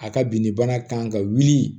A ka binni bana kan ka wuli